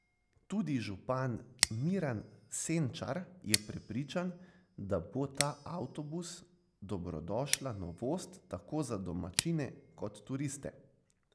Tudi župan Miran Senčar je prepričan, da bo ta avtobus dobrodošla novost tako za domačine kot turiste.